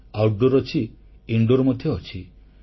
ଘର ବାହାରେ ପଡିଆରେ ଅଛି ଇନ୍ଦୁର ମଧ୍ୟ ଅଛି